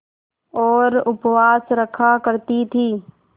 और उपवास रखा करती थीं